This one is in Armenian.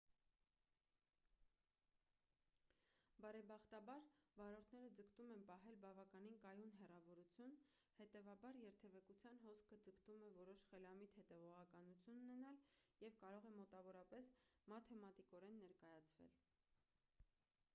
բարեբախտաբար վարորդները ձգտում են պահել բավականին կայուն հեռավորություն հետևաբար երթևեկության հոսքը ձգտում է որոշ խելամիտ հետևողականություն ունենալ և կարող է մոտավորապես մաթեմատիկորեն ներկայացվել